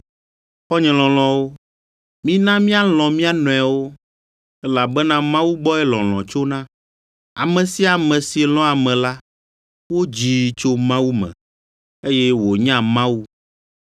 Xɔ̃nye lɔlɔ̃wo, mina míalɔ̃ mía nɔewo, elabena Mawu gbɔe lɔlɔ̃ tsona. Ame sia ame si lɔ̃a ame la, wodzii tso Mawu me, eye wònya Mawu.